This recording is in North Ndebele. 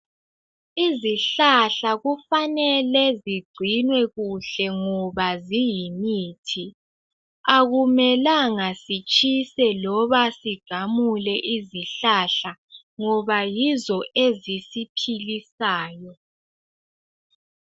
izihlahla kufanelwe zigcinwe kuhle ngoba ziyimithi akumelanga sitsheswe loba sigamule izihlahla ngoba yizo ezisiphilisayo